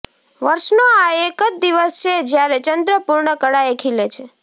વર્ષનો આ એક જ દિવસ છે જ્યારે ચંદ્ર પૂર્ણ કળાએ ખીલે છે